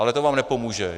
Ale to vám nepomůže.